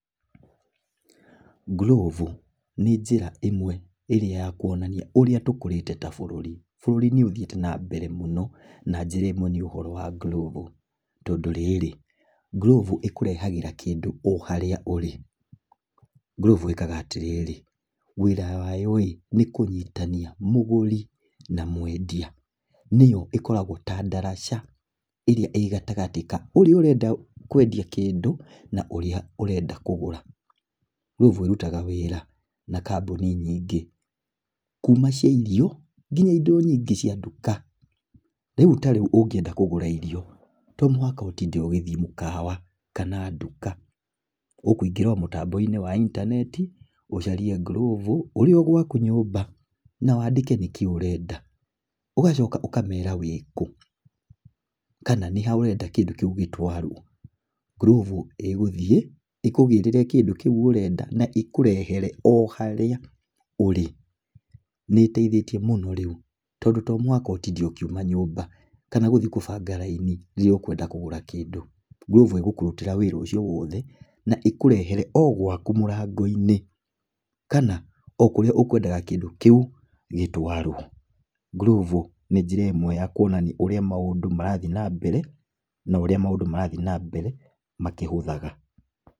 Glovo nĩ njĩra ĩmwe ĩria ya Kũonania ũrĩa tũkurĩte ta bũruri . Bũruri nĩ ũthiĩte na mbele mũno, na njĩra ĩmwe nĩ ũhoro wa glovo. Tondũ rĩrĩ, glovo ĩkurehagĩra kĩndu o harĩa ũrĩ. Glovo ĩkaga atĩ rĩrĩ, wĩra wayo rĩ, nĩ kũnyitithanĩa mũguri na mwedia. Nĩyo ĩkoragwo ta ndaraca ĩrĩa ĩĩ gatagati ka ũrĩa ũrenda kwedia kĩndũ na ũrĩa ũrenda kũgura. Glovo ĩrutaga wĩra na kambuni nyingĩ. Kũuma cĩa irio, nginya indo nyingĩ cĩa nduka. Rĩu ta riũ ũngĩnda kũgura irio, to mũhaka ũtinde ugithiĩ mukawa kana nduka. ũkuingĩra o mũtambo-inĩ wa intarneti ucarĩe glovo ũrĩ o gwaku nyũmba na wandĩke nĩ kĩĩ ũrenda. ũgacoka ũkamera wĩku, kana nĩ ha ũrenda kĩndu kĩu gĩtwarwo. Glovo ĩguthĩi , ĩkurehere kĩndu kĩu ũrenda na ĩkurehere o harĩa ũrĩ. Nĩ ĩteithĩtie muno rĩu tondu to mũhaka ũtinde ũkiuma nyũmba ũthiĩ kũbanga laini rĩria ũkwenda kũgũra kindu. Glovo ĩgũkurutĩra wĩra ũcio wothe na ĩkũrehere o gwaku mũrango-inĩ, kana okũrĩa ũkwendaga kĩndu kĩu gĩtwarwo. Glovo nĩ njĩra ĩmwi ya kũonania ũria maũndu marathiĩ na mbere, na ũrĩa maũndu na mbere makĩhũthaga.